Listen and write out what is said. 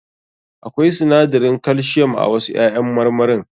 Akwai sinadarin calcium a wasu ƴaƴan marmarin.